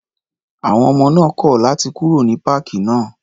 À̀wọn ọmọ náà kọ̀ láti kúrò ní páàkì náà.